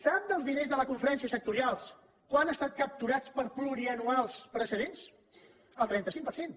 sap dels diners de la conferència sectorial quants han estat capturats per pluriennals precedents el trenta cinc per cent